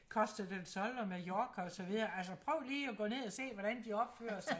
costa del sol og mallorca og så videre altså prøv lige og gå ned og se hvordan de opfører sig